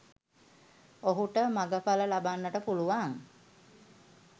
ඔහුට මගඵල ලබන්නට පුළුවන්